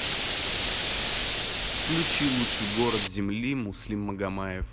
включи лучший город земли муслим магомаев